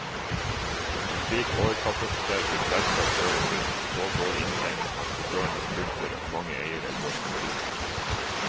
En slik overkapasitet vil selvsagt føre til så dårlig inntjening at sjåførene slutter og mange eiere går konkurs.